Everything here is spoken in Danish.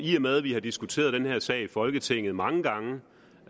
med at vi har diskuteret den her sag i folketinget mange gange